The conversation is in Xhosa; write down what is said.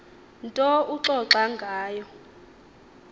nto uxoxa ngayo